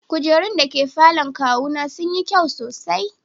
Kujerun da ke falon kawuna sun yi kyau sosai.